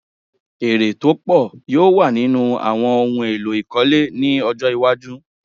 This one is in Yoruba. Èrè tó pọ̀ yóò wà nínú òwò ohun èlò ìkọ́le ní ọjọ́ iwájú.